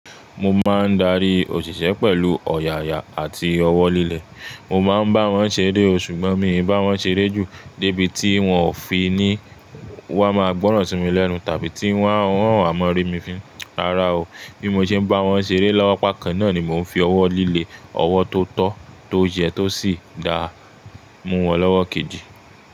Mo máa ń darí òṣìṣẹ́ pẹ̀lú ọ̀yààyà àti ọwọ́ líle. Mo máa ń bá wọn ṣeré o ṣùgbọ́n mi ò bá wọn ṣeré jù débi tí wọn ò fi ní wa máa gbọ́ràn sí mi lẹ́nu tàbí tí wọn o wá maa rí mi fin. Rárá o, bí mo ṣe ń bá wọn ṣeré lọ́wọ́, lapá kan náà ni mò ń fi ọwọ́ líle, ọwọ́ tó tọ́, tó yẹ tó sì dáa mú wọn lọ́wọ́ kejì.